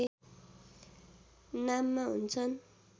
नाममा हुन्छन्